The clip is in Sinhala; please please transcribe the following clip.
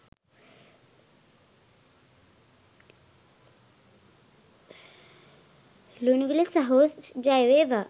ලුණුවිල සහෝ ජය වේවා